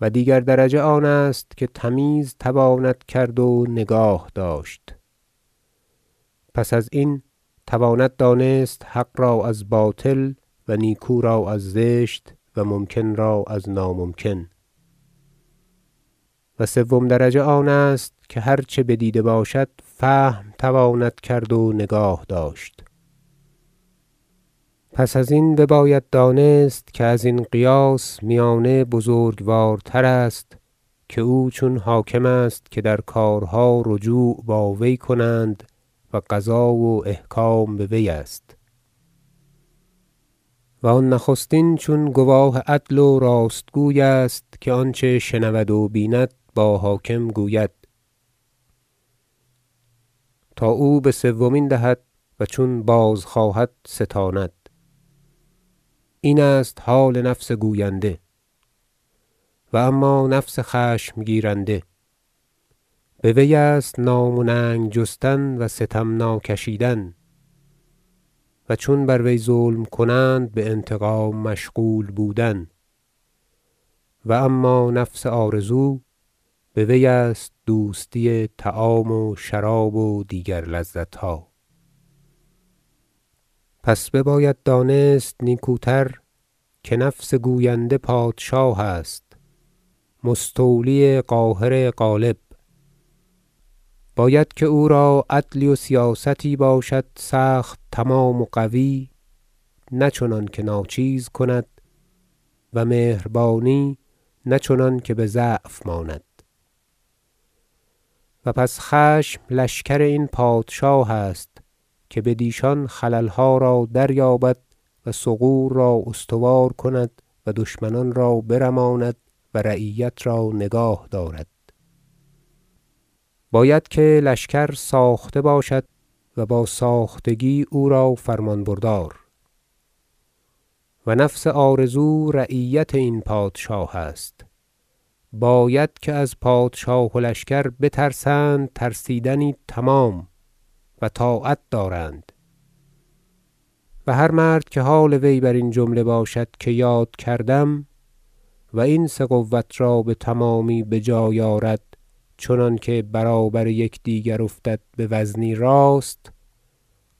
و دیگر درجه آنست که تمیز تواند کرد و نگاه داشت پس از این تواند دانست حق را از باطل و نیکو را از زشت و ممکن را از ناممکن و سوم درجه آنست که هرچه بدیده باشد فهم تواند کرد و نگاه داشت پس ازین بباید دانست که ازین قیاس میانه بزرگوار تر است که او چون حاکم است که در کارها رجوع با وی کنند و قضا و احکام به وی است و آن نخستین چون گواه عدل و راست گوی است که آنچه شنود و بیند با حاکم گوید تا او به سومین دهد و چون بازخواهد ستاند این است حال نفس گوینده و اما نفس خشم گیرنده به وی است نام و ننگ جستن و ستم ناکشیدن و چون بر وی ظلم کنند به انتقام مشغول بودن و اما نفس آرزو به وی است دوستی طعام و شراب و دیگر لذت ها پس بباید دانست نیکوتر که نفس گوینده پادشاه است مستولی قاهر غالب باید که او را عدلی و سیاستی باشد سخت تمام و قوی نه چنانکه ناچیز کند و مهربانی نه چنانکه به ضعف ماند و پس خشم لشکر این پادشاه است که بدیشان خلل ها را دریابد و ثغور را استوار کند و دشمنان را برماند و رعیت را نگاه دارد باید که لشکر ساخته باشد و با ساختگی او را فرمان بردار و نفس آرزو رعیت این پادشاه است باید که از پادشاه و لشکر بترسند ترسیدنی تمام و طاعت دارند و هر مرد که حال وی برین جمله باشد که یاد کردم و این سه قوة را به تمامی بجای آرد چنانکه برابر یکدیگر افتد بوزنی راست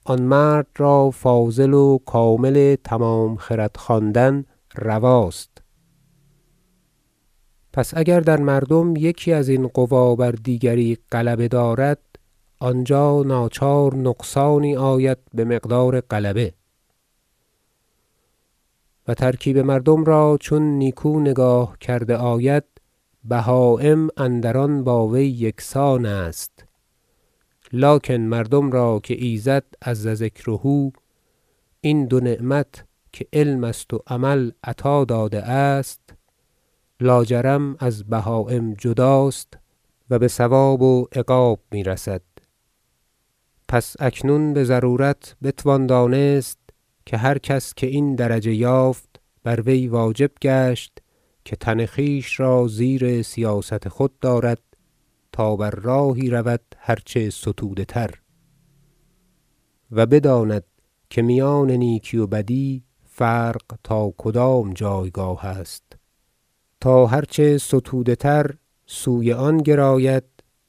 آن مرد را فاضل و کامل تمام خرد خواندن رواست پس اگر در مردم یکی ازین قوی بر دیگری غلبه دارد آنجا ناچار نقصانی آید به مقدار غلبه و ترکیب مردم را چون نیکو نگاه کرده آید بهایم اندر آن با وی یکسان است لکن مردم را که ایزد -عز ذکره- این دو نعمت که علم است و عمل عطا داده است لاجرم از بهایم جداست و به ثواب و عقاب می رسد پس اکنون به ضرورت بتوان دانست که هر کس که این درجه یافت بر وی واجب گشت که تن خویش را زیر سیاست خود دارد تا بر راهی رود هرچه ستوده تر و بداند که میان نیکی و بدی فرق تا کدام جایگاه است تا هرچه ستوده تر سوی آن گراید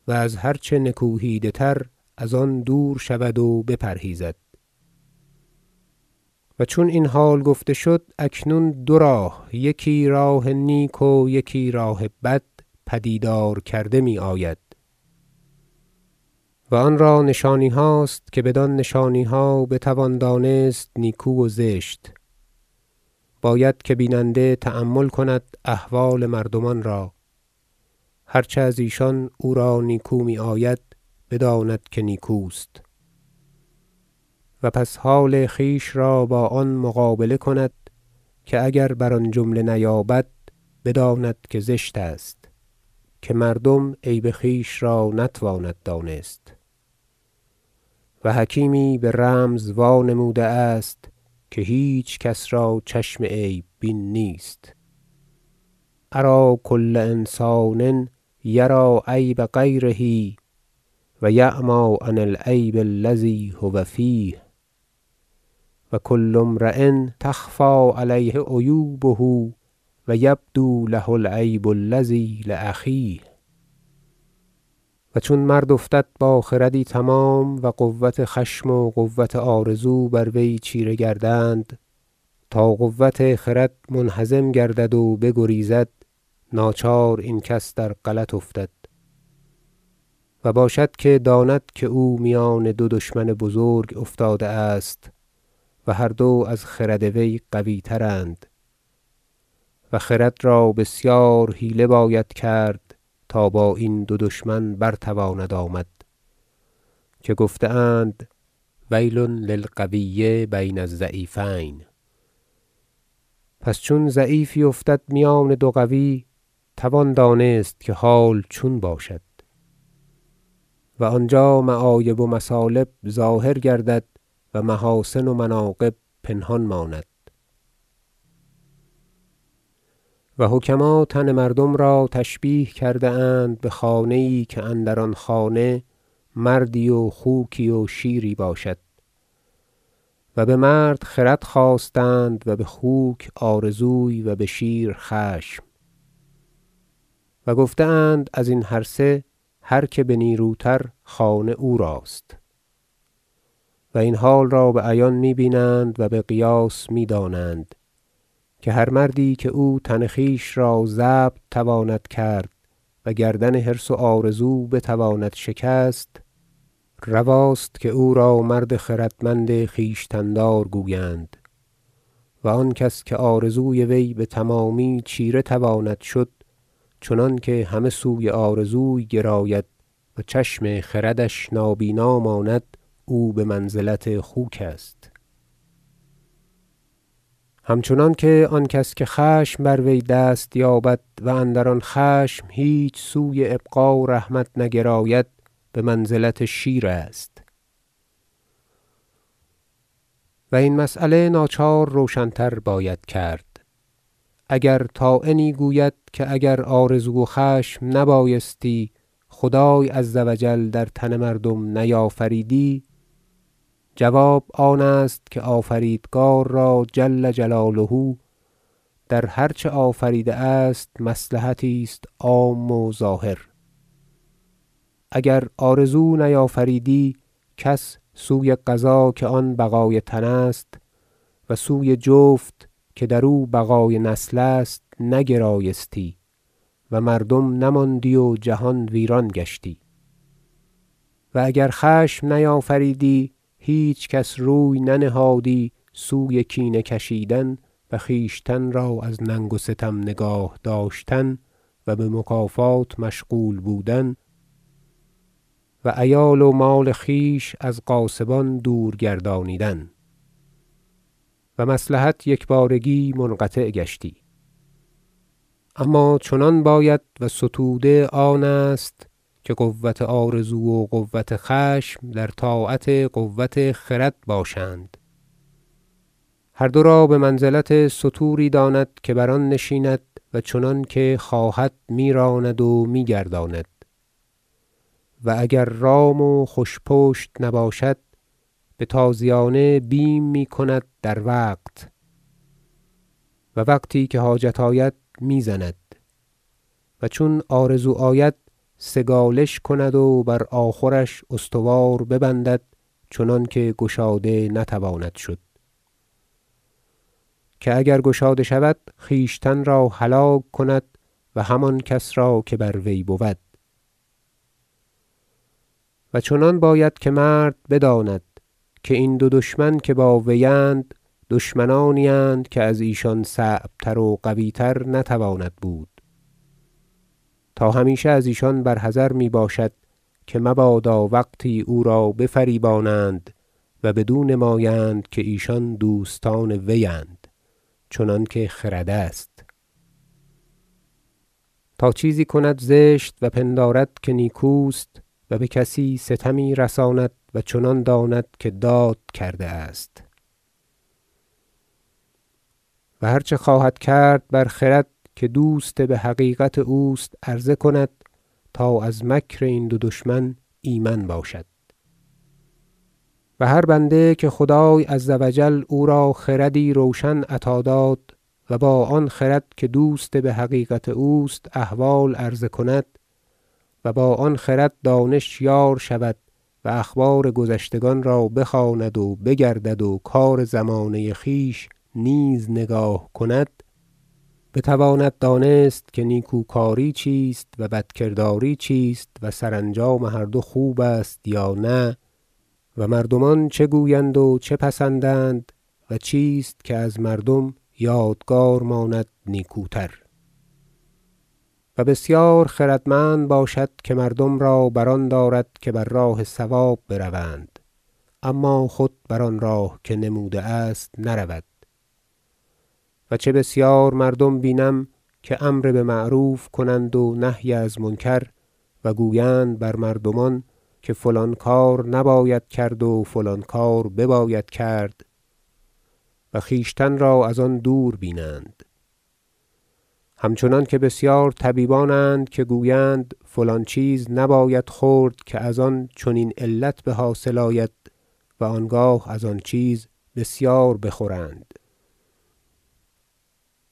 و از هر چه نکوهیده تر از آن دور شود و بپرهیزد و چون این حال گفته شد اکنون دو راه یکی راه نیک و دیگر راه بد پدید کرده می آید و آن را نشانی هاست که بدان نشانی ها بتوان دانست نیکو و زشت باید که بیننده تأمل کند احوال مردمان را هرچه از ایشان او را نیکو می آید بداند که نیکوست و پس حال خویش را با آن مقابله کند که اگر بر آن جمله نیابد بداند که زشت است که مردم عیب خویش را نتواند دانست و حکیمی به رمز وانموده است که هیچ کس را چشم عیب بین نیست شعر أری کل إنسان یری عیب غیره و یعمی عن العیب الذی هو فیه و کل امری تخفی علیه عیوبه و یبدو له العیب الذي لأخیه و چون مرد افتد با خردی تمام و قوة خشم و قوة آرزو بر وی چیره گردند تا قوة خرد منهزم گردد و بگریزد ناچار این کس در غلط افتد و باشد که داند که او میان دو دشمن بزرگ افتاده است و هر دو از خرد وی قوی ترند و خرد را بسیار حیله باید کرد تا با این دو دشمن برتواند آمد که گفته اند ویل للقوی بین الضعیفین پس چون ضعیفی افتد میان دو قوی توان دانست که حال چون باشد و آنجا معایب و مثالب ظاهر گردد و محاسن و مناقب پنهان ماند و حکما تن مردم را تشبیه کرده اند به خانه ای که اندر آن خانه مردی و خوکی و شیری باشد و به مرد خرد خواستند و به خوک آرزوی و به شیر خشم و گفته اند ازین هر سه هر که به نیرو تر خانه او راست و این حال را به عیان می بینند و به قیاس می دانند که هر مردی که او تن خویش را ضبط تواند کرد و گردن حرص و آرزو بتواند شکست رواست که او را مرد خردمند خویشتن دار گویند و آن کس که آرزوی وی به تمامی چیره تواند شد چنانکه همه سوی آرزوی گراید و چشم خردش نابینا ماند او به منزلت خوک است همچنانکه آن کس که خشم بر وی دست یابد و اندر آن خشم هیچ سوی ابقا و رحمت نگراید به منزلت شیر است و این مسأله ناچار روشن تر باید کرد اگر طاعنی گوید که اگر آرزو و خشم نبایستی خدای عز و جل در تن مردم نیافریدی جواب آن است که آفریدگار را جل جلاله در هر چه آفریده است مصلحتی است عام و ظاهر اگر آرزو نیافریدی کس سوی غذا که آن بقای تن است و سوی جفت که در او بقای نسل است نگرایستی و مردم نماندی و جهان ویران گشتی و اگر خشم نیافریدی هیچ کس روی ننهادی سوی کینه کشیدن و خویشتن را از ننگ و ستم نگاه داشتن و به مکافات مشغول بودن و عیال و مال خویش از غاصبان دور گردانیدن و مصلحت یکبارگی منقطع گشتی اما چنان باید و ستوده آن است که قوة آرزو و قوة خشم در طاعت قوة خرد باشند هر دو را به منزلت ستوری داند که بر آن نشیند و چنانکه خواهد می راند و می گرداند و اگر رام و خوش پشت نباشد به تازیانه بیم می کند در وقت و وقتی که حاجت آید می زند و چون آرزو آید سگالش کند و بر آخورش استوار ببندد چنانکه گشاده نتواند شد که اگر گشاده شود خویشتن را هلاک کند و هم آن کس را که بر وی بود و چنان باید که مرد بداند که این دو دشمن که با وی اند دشمنانی اند که از ایشان صعب تر و قوی تر نتواند بود تا همیشه از ایشان بر حذر می باشد که مبادا وقتی او را بفریبانند و بدو نمایند که ایشان دوستان وی اند چنانکه خرد است تا چیزی کند زشت و پندارد که نیکوست و به کسی ستمی رساند و چنان داند که داد کرده است و هر چه خواهد کرد بر خرد که دوست به حقیقت اوست عرضه کند تا از مکر این دو دشمن ایمن باشد و هر بنده که خدای عز و جل او را خردی روشن عطا داد و با آن خرد که دوست به حقیقت اوست احوال عرضه کند و با آن خرد دانش یار شود و اخبار گذشتگان را بخواند و بگردد و کار زمانه خویش نیز نگاه کند بتواند دانست که نیکوکاری چیست و بدکرداری چیست و سرانجام هر دو خوب است یا نه و مردمان چه گویند و چه پسندند و چیست که از مردم یادگار ماند نیکوتر و بسیار خردمند باشد که مردم را بر آن دارد که بر راه صواب بروند اما خود بر آن راه که نموده است نرود و چه بسیار مردم بینم که امر به معروف کنند و نهی از منکر و گویند بر مردمان که فلان کار نباید کرد و فلان کار بباید کرد و خویشتن را از آن دور بینند همچنانکه بسیار طبیبان اند که گویند فلان چیز نباید خورد که از آن چنین علت به حاصل آید و آنگاه از آن چیز بسیار بخورند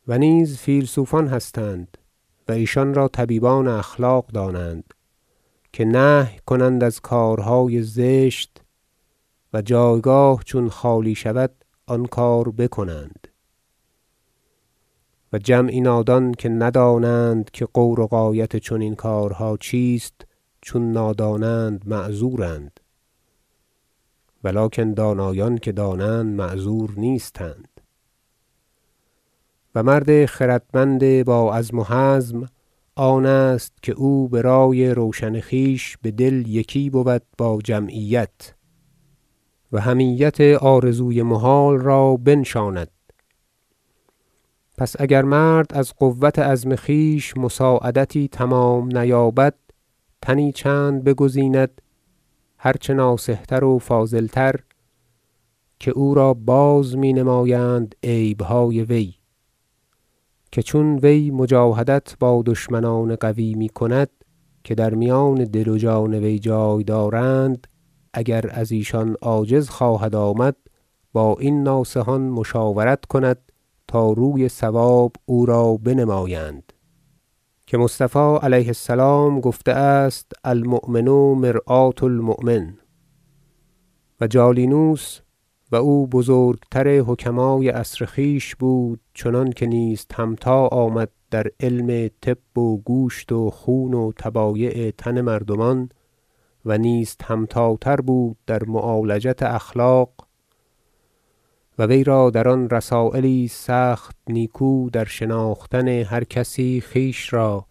و نیز فیلسوفان هستند- و ایشان را طبیبان اخلاق دانند- که نهی کنند از کارهای سخت زشت و جایگاه چون خالی شود آن کار بکنند و جمعی نادان که ندانند که غور و غایت چنین کارها چیست چون نادانند معذور ند و لکن دانایان که دانند معذور نیستند و مرد خردمند با عزم و حزم آن است که او به رای روشن خویش به دل یکی بود با جمعیت و حمیت آرزوی محال را بنشاند پس اگر مرد از قوة عزم خویش مساعدتی تمام نیابد تنی چند بگزیند هرچه ناصح تر و فاضل تر که او را بازمی نمایند عیب های وی که چون وی مجاهدت با دشمنان قوی می کند که در میان دل و جان وی جای دارند اگر از ایشان عاجز خواهد آمد با این ناصحان مشاورت کند تا روی صواب او را بنمایند که مصطفی علیه السلام گفته است المؤمن مرآة المؤمن و جالینوس- و او بزرگ تر حکمای عصر خویش بود چنانکه نیست همتا آمد در علم طب و گوشت و خون و طبایع تن مردمان و نیست همتا تر بود در معالجت اخلاق و وی را در آن رسایلی است سخت نیکو در شناختن هر کسی خویش را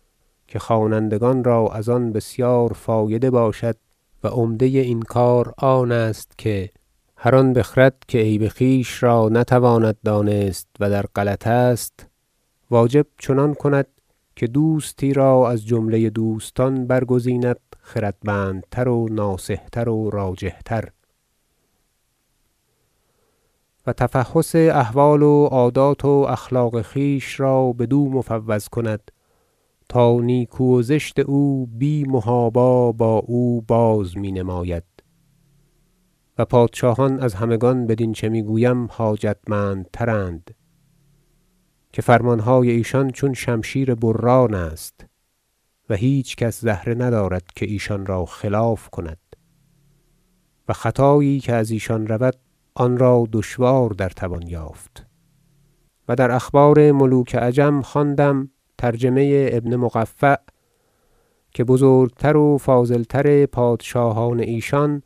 که خوانندگان را از آن بسیار فایده باشد و عمده این کار آن است- گفته است که هر آن بخرد که عیب خویش را نتواند دانست و در غلط است واجب چنان کند که دوستی را از جمله دوستان برگزیند خردمندتر و ناصح تر و راجح تر و تفحص احوال و عادات و اخلاق خویش را بدو مفوض کند تا نیکو و زشت او بی محابا با او بازمی نماید و پادشاهان از همگان بدین چه می گویم حاجتمند تر ند که فرمان های ایشان چون شمشیر بران است و هیچ کس زهره ندارد که ایشان را خلاف کند و خطایی که از ایشان رود آن را دشوار در توان یافت و در اخبار ملوک عجم خواندم ترجمه ابن مقفع که بزرگ تر و فاضل تر پادشاهان ایشان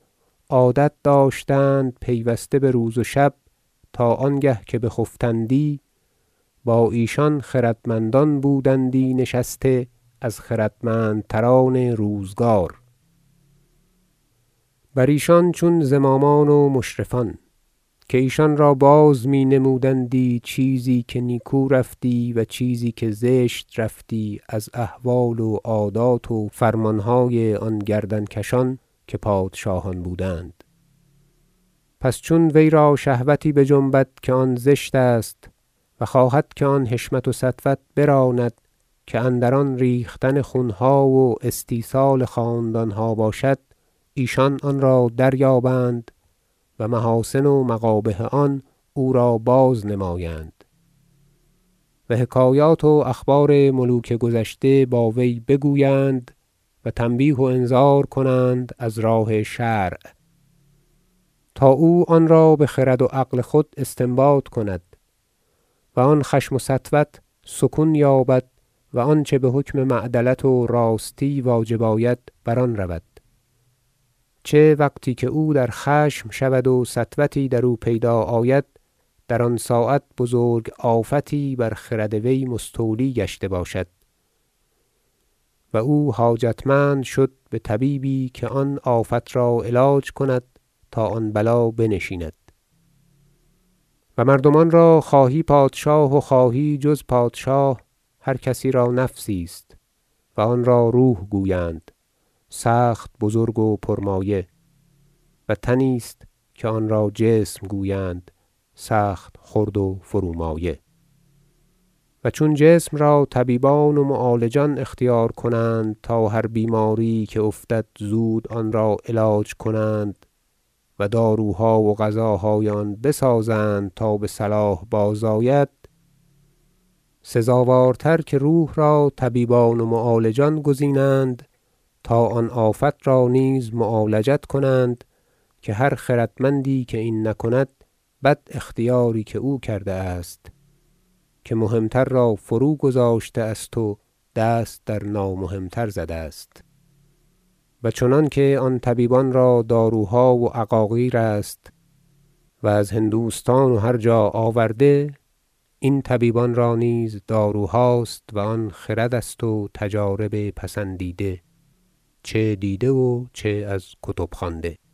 عادت داشتند که پیوسته به روز و شب تا آنگه که بخفتندی با ایشان خردمندان بودندی نشسته از خردمند تران روزگار بر ایشان چون زمامان و مشرفان که ایشان را باز می نمودندی چیزی که نیکو رفتی و چیزی که زشت رفتی از احوال و عادات و فرمان های آن گردن کشان که پادشاهان بودند پس چون وی را شهوتی بجنبد که آن زشت است و خواهد که آن حشمت و سطوت براند که اندران ریختن خون ها و استیصال خاندان ها باشد ایشان آن را دریابند و محاسن و مقابح آن او را بازنمایند و حکایات و اخبار ملوک گذشته با وی بگویند و تنبیه و انذار کنند از راه شرع تا او آن را به خرد و عقل خود استنباط کند و آن خشم و سطوت سکون یابد و آنچه به حکم معدلت و راستی واجب آید بر آن رود چه وقتی که او در خشم شود و سطوتی در او پیدا آید در آن ساعت بزرگ آفتی بر خرد وی مستولی گشته باشد و او حاجتمند شد به طبیبی که آن آفت را علاج کند تا آن بلا بنشیند و مردمان را خواهی پادشاه و خواهی جز پادشاه هرکسی را نفسی است و آن را روح گویند سخت بزرگ و پر مایه و تنی است که آنرا جسم گویند سخت خرد و فرومایه و چون جسم را طبیبان و معالجان اختیار کنند تا هر بیماری یی که افتد زود آن را علاج کنند و داروها و غذاهای آن بسازند تا بصلاح بازآید سزاوارتر که روح را طبیبان و معالجان گزینند تا آن آفت را نیز معالجت کنند که هر خردمندی که این نکند بد اختیاری که او کرده است که مهم تر را فروگذاشته است و دست در نامهم تر زده است و چنانکه آن طبیبان را داروها و عقاقیر است از هندوستان و هر جا آورده این طبیبان را نیز داروهاست و آن خرد است و تجارب پسندیده چه دیده و چه از کتب خوانده